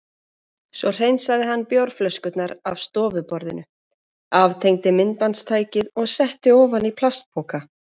Svo hreinsaði hann bjórflöskurnar af stofuborðinu, aftengdi myndbandstækið og setti ofan í plastpoka.